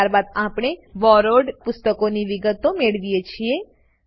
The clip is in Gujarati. ત્યારબાદ આપણે બોરોવ્ડ પુસ્તકોની વિગતો મેળવીએ છીએ